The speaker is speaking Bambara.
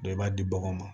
i b'a di baganw ma